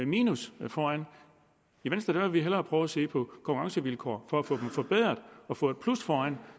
minus foran i venstre vil vi hellere prøve at se på konkurrencevilkår for at få dem forbedret og få et plus foran